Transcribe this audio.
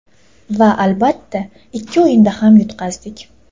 Va albatta, ikki o‘yinda ham yutqazdik.